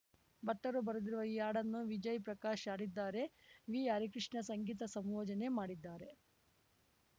ಭಟ್ಟರು ಬರೆದಿರುವ ಈ ಹಾಡನ್ನು ವಿಜಯ್‌ ಪ್ರಕಾಶ್‌ ಹಾಡಿದ್ದಾರೆ ವಿ ಹರಿಕೃಷ್ಣ ಸಂಗೀತ ಸಂಯೋಜನೆ ಮಾಡಿದ್ದಾರೆ